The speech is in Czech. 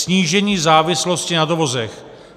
Snížení závislosti na dovozech.